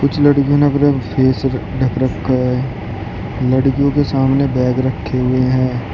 कुछ लड़कियों ने अपने फेस ढक रक्खा है। लड़कियों के सामने बैग रखे हुए हैं।